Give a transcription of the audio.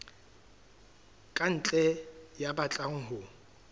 ka ntle ya batlang ho